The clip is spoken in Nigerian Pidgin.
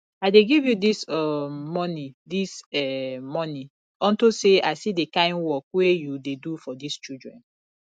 i dey give you dis um money dis um money unto say i see the kin work wey you dey do for dis children